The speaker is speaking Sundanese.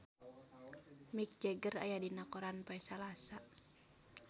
Mick Jagger aya dina koran poe Salasa